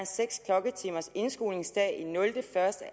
seks klokketimers indskolingsdag i 0 1